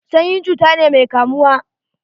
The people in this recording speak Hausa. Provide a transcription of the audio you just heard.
Sanyi cuta ne mai kamuwa.